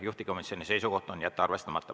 Juhtivkomisjoni seisukoht on jätta arvestamata.